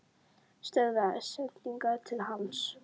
Stöðva sendingar til hans?